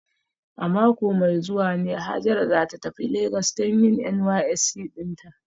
A mako mai zuwa ne Hajara za ta tafi Legas don yin NYSC dinta